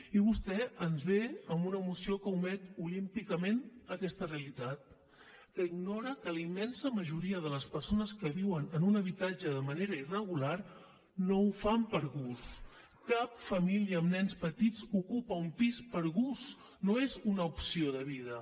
i vostè ens ve amb una moció que omet olímpicament aquesta realitat que ignora que la immensa majoria de les persones que viuen en un habitatge de manera irregular no ho fan per gust cap família amb nens petits ocupa un pis per gust no és una opció de vida